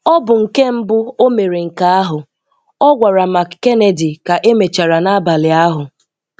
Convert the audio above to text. Ọ bụ nke mbụ o mere nke ahụ, ọ gwara McKennedy ka emechara n'abalị ahụ.